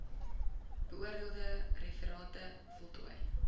beoordeelde referate voltooi